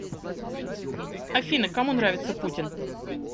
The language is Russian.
афина кому нравится путин